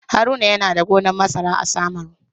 Haruna yana da gonan masara a Samaru.